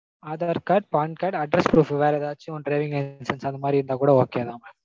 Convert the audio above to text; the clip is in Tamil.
aadhar card PAN card address proof வேற எதாச்சும் driving license அந்த மாதிரி இருந்தாகூட okay தா mam